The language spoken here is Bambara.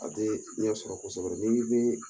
A tɛ ɲɛsɔrɔ kosɔbɛ ni